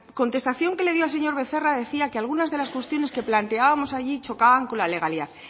contestación que le dio al señor becerra decía que algunas de las cuestiones que planteábamos allí chocaban con la legalidad